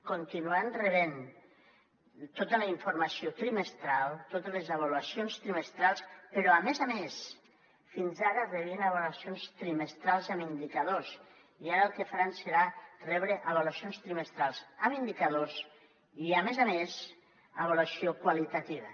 continuaran rebent tota la informació trimestral totes les avaluacions trimestrals però a més a més fins ara rebien avaluacions trimestrals amb indicadors i ara el que faran serà rebre avaluacions trimestrals amb indicadors i a més a més avaluació qualitativa